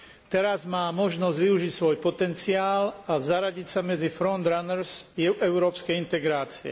Teraz má možnosť využiť svoj potenciál a zaradiť sa medzi front runners európskej integrácie.